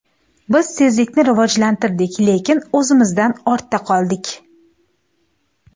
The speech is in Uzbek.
Biz tezlikni rivojlantirdik, lekin o‘zimizdan ortda qoldik.